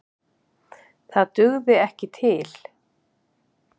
Það dugði ekki til.